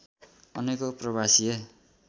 अनेकौं प्रवासिए